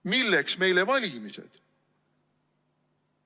Milleks meile valimised?